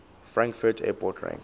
frankfurt airport ranks